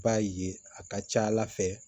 I b'a ye a ka ca ala fɛ